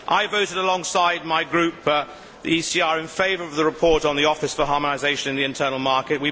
I voted alongside my Group, the ECR, in favour of the report on the Office for Harmonisation in the Internal Market.